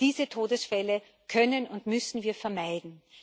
Diese Todesfälle können und müssen wir vermeiden.